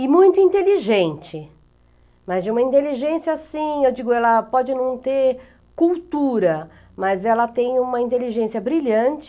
e muito inteligente, mas de uma inteligência assim, eu digo, ela pode não ter cultura, mas ela tem uma inteligência brilhante